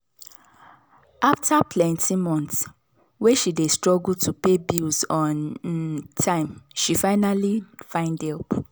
after plenty months way she dey struggle to pay bills on um time she finally find help.